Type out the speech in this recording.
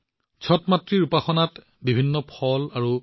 সেয়েহে আমি প্ৰতিটো পৰিস্থিতিত এক সুষম স্থিতি বৰ্তাই ৰখা উচিত